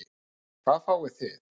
En hvað fáið þið?